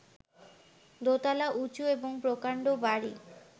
দোতলা উঁচু এবং প্রকাণ্ড বাড়ি